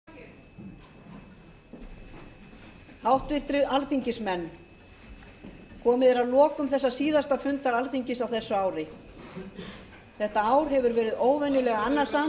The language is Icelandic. frumvarpið er samþykkt með þrjátíu og þremur atkvæðum gegn þrjátíu og verður sent hæstvirt ríkisstjórn sem lög frá alþingi háttvirtir alþingismenn komið er að lokum þessa síðasta fundar alþingis á þessu ári þetta ár hefur verið óvenjulega annasamt